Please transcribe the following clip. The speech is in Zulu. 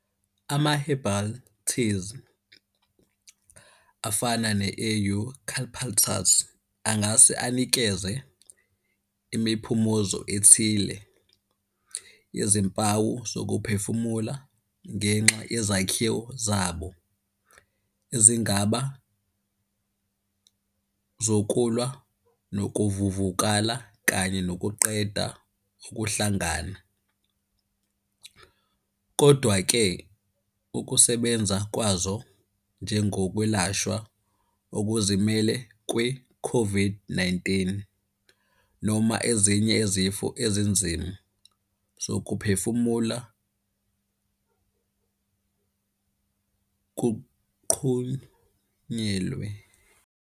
Ama-herbal teas afana ne-eucalyptus, angase anikeze imiphumuzo ethile yezimpawu zokuphefumula ngenxa yezakhiwo zabo ezingaba zokulwa nokuvuvukala kanye nokuqeda ukuhlangana, kodwa-ke ukusebenza kwazo njengokwelashwa okuzimele kwe-COVID-19 noma ezinye izifo ezinzima, zokuphefumula kuqhunyelwe.